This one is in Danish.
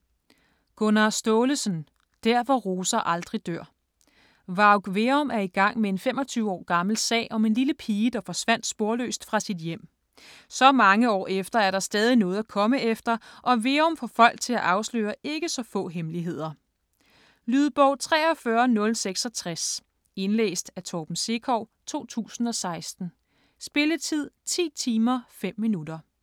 Staalesen, Gunnar: Der hvor roser aldrig dør Varg Veum er i gang med en 25 år gammel sag om en lille pige, der forsvandt sporløst fra sit hjem. Så mange år efter er der stadig noget at komme efter, og Veum får folk til at afsløre ikke så få hemmeligheder. Lydbog 43066 Indlæst af Torben Sekov, 2016. Spilletid: 10 timer, 5 minutter.